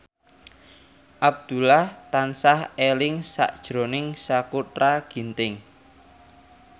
Abdullah tansah eling sakjroning Sakutra Ginting